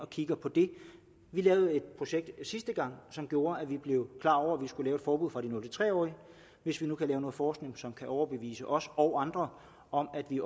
kigger på det vi lavede et projekt sidste gang som gjorde at vi blev klar over vi skulle lave et forbud for de nul tre årige og hvis vi nu kan lave noget forskning som kan overbevise os og andre om at vi